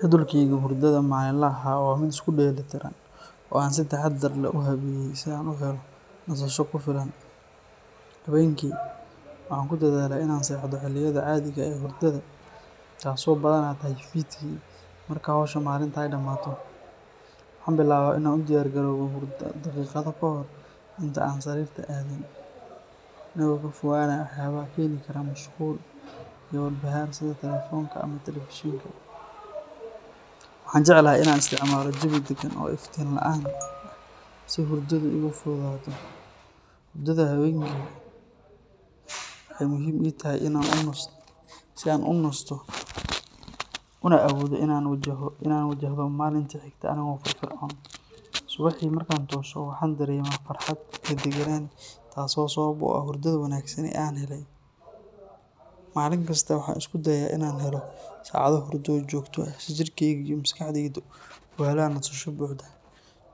Jadwalkayga hurdada maalinlaha ah waa mid isku dheelitiran oo aan si taxadar leh u habeeyey si aan u helo nasasho ku filan. Habeenkii, waxaan ku dadaalaa inaan seexdo xilliyada caadiga ah ee hurdada, taas oo badanaa tahay fiidkii marka hawsha maalinta ay dhammaato. Waxaan bilaabaa inaan u diyaargaroobo hurdo daqiiqado ka hor inta aanan sariirta aadin, anigoo ka fogaanaya waxyaabaha keeni kara mashquul iyo walbahaar sida telefoonka ama telefishinka. Waxaan jeclahay inaan isticmaalo jawi deggan oo iftiin la’aan ah si hurdadu ay iigu fududaato. Hurdada habeenkii waxay muhiim ii tahay si aan u nasto una awoodo inaan wajahdo maalinta xigta anigoo firfircoon. Subaxii markaan tooso, waxaan dareemaa farxad iyo deganaan, taas oo sabab u ah hurdada wanaagsan ee aan helay. Maalin kasta waxaan isku dayaa inaan helo saacado hurdo oo joogto ah si jirkeyga iyo maskaxdeyda u helaan nasasho buuxda.